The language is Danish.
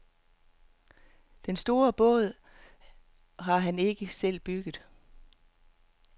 Den store båd har han ikke selv bygget.